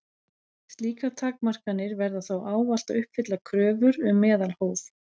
Slíkar takmarkanir verða þó ávallt að uppfylla kröfur um meðalhóf.